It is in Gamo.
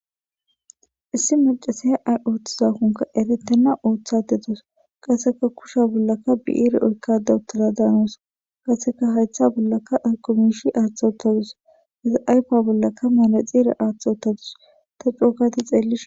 issi macasehe ay ooththizakonka eretenna ooththate tos qaseka kusha bollaka bi7ire oykkadaw tila daanoos qaseka haytha bollaka akomish aaththaottadus hezi aypa bollaka maale xiire aaththottadus ta cuokata xeelli